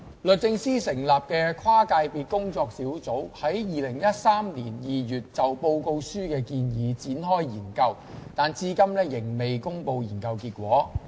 律政司成立的跨界別工作小組於2013年2月就報告書的建議展開研究，但至今仍未公布研究結果。